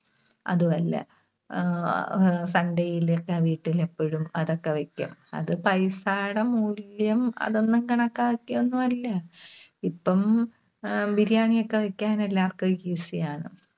അതുമല്ല. ആഹ് ആഹ് Sunday യിലൊക്കെ വീട്ടില് എപ്പഴും അതൊക്കെ വെക്കും. അത് പൈസയുടെ മൂല്യം, അതൊന്നും കണക്കാക്കിയൊന്നും അല്ല. ഇപ്പം അഹ് Biriyani ഒക്കെ വെക്കാൻ എല്ലാവർക്കും easy ആണ്.